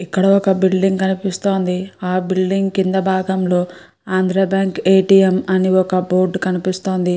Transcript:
ఇక్క్కడ ఒక కనిపిస్తుంది. ఆ బిల్డింగ్ కింద కింది భాగం లో Andhra bank A. T. M. అని ఒక కనిపిస్తుంది.